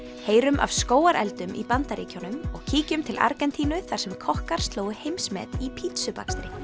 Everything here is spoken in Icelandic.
heyrum af skógareldum í Bandaríkjunum og kíkjum til Argentínu þar sem kokkar slógu heimsmet í pítsubakstri